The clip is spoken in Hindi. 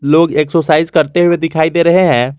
लोग एक्सरसाइज करते हुए दिखाई दे रहे हैं।